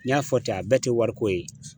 N y'a fɔ ten , a bɛɛ tɛ wariko ye.